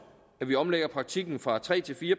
at vi omlægger praktikken fra tre til fire